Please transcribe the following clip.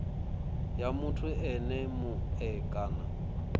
ya muthu ene mue kana